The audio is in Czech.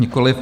Nikoliv.